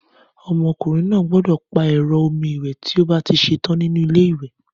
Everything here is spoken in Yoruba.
Ọmọkùnrin náà gbódò pa ero omi ìwè tí o bá ti setán nínú ilé ìwè